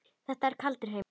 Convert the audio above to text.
Þetta er kaldur heimur.